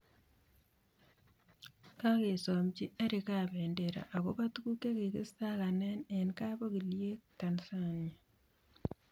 Kagesomanchi Eric kabendera agoba tuguk chekikistakane eng kap ongilyek tanzania